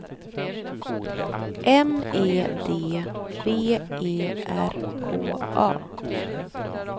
M E D V E R K A